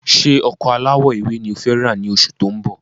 Ṣé ọkọ̀ alawọ ewé ni ọ fẹ ra ni oṣù tó ń bọ̀?